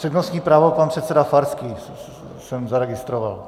Přednostní právo pan předseda Farský jsem zaregistroval.